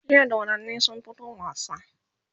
jiya dodannin sun fito wasa